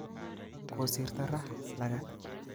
Kosirto raa lagat